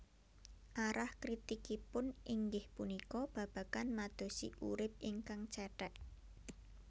Arah kritikipun inggih punika babagan madosi urip ingkang cèthèk